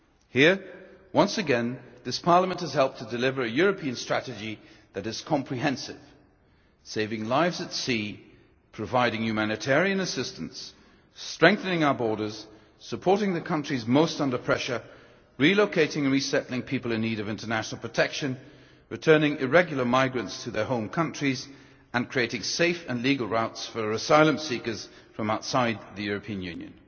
Here, once again, this Parliament has helped to deliver a European strategy that is comprehensive saving lives at sea, providing humanitarian assistance, strengthening our borders, supporting the countries most under pressure, relocating and resettling people in need of international protection, returning irregular migrants to their home countries, and creating safe and legal routes for asylum seekers from outside the European Union.